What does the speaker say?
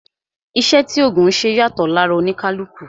Iṣẹ́ tí ògùn ńṣe yàtọ̀ lára oníkálukú